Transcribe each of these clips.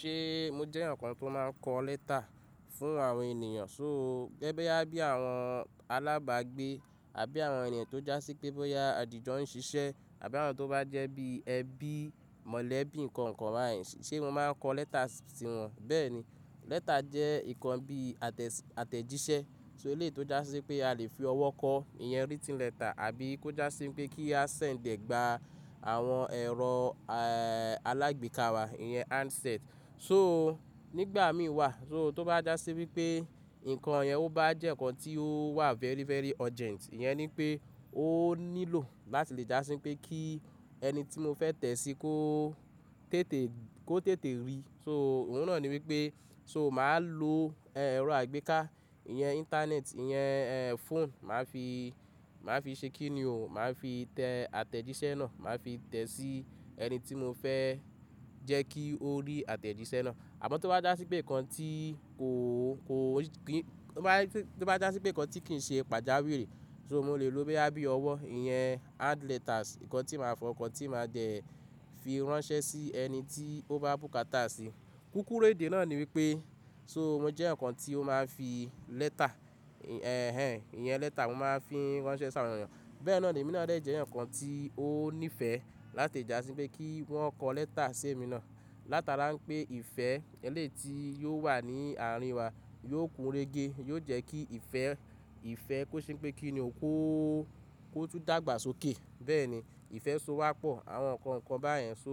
Ṣé mo jẹ́ ǹkan tó máa ń kọ lẹ́tà fún àwọn ènìyàn. So gẹ́gẹ́ bí àbí àwọn alábàágbé àbí àwọn ènìyàn tó jásí pé bóyá àdìjọ ń ṣiṣẹ́ àbí àwọn tó bá jẹ́ bí ẹbí mọ̀lẹ́bí nǹkan kan báyìí ṣe mo máa ń kọ lẹ́tà sí wọn. Bẹ́ẹ̀ni, lẹ́tà jẹ́ ǹkan bí àtẹ̀jíṣẹ́, so lè tó jásí pé a lè fi ọwọ́ kọ ìyẹn written letter àbí kó jásí pé kí a send gba àwọn ẹ̀rọ alágbèéká wa ìyẹn handset. So nígbà mí wà, so tó bá jásí wípé ǹkan yẹn ó bá jẹ́ ǹkan tí ó wà very very urgent, ìyẹn ni pé ó nílò láti lè jásí pé kí ẹni tí mo fẹ́ tẹ̀ sí kó tètè rí. So òun náà ni wípé so màá lo ẹ̀rọ àgbéká, ìyẹn internet, ìyẹn phone máa fi ṣe kí ni o, màá fi tẹ àtẹ̀jíṣẹ́ náà, màá fi tẹ sí ẹni tí mo fẹ́ jẹ́ kí ó rí àtẹ̀jíṣẹ́ náà. Àmọ́ tó bá jásí pé ǹkan tí kìí ṣe pàjáwìrì, so mo lè lo bí ẹbí ọwọ́, ìyẹn hand letters, ǹkan tí màá fọ, ǹkan tí màá jẹ́ fi ránṣẹ́ sí ẹni tí ó bá bùkátà si. Kúkúrú èdè náà ni wípé so mo jẹ́ ǹkan tí ó máa ń fi lẹ́tà, ẹhẹn ìyẹn lẹ́tà mo máa ń fi ránṣẹ́ sí àwọn ènìyàn. Bẹ́ẹ̀ náà ni, mí náà jẹ́ ǹkan tí ó nífẹ̀ẹ́ láti jásí pé kí wọ́n kọ lẹ́tà sí èmi náà. Látara pé ìfẹ́ èléyìí tí ò wà ní àárín wa yóò kún rége, yóò jẹ́ kí ìfẹ́, ìfẹ́ kó ṣe pé kí ni o kó tún dàgbà sókè. Bẹ́ẹ̀ni, ìfẹ́ so wá pọ̀ àwọn ǹkan kan báyẹn. So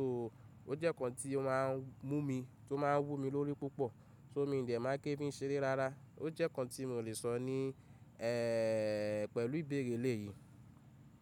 ó jẹ́ ǹkan tí wọ́n á mú mi, tó máa ń wú mi lórí púpọ̀, so mí ò dẹ̀ máa ké bí ń ṣe rí rárá. Ó jẹ́ ǹkan tí mò lè sọ ní pẹ̀lú ìbéèrè lè yìí.